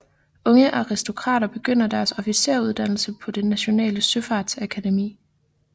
Unge aristokrater begyndte deres officersuddannelse på det nationale søfartsakademi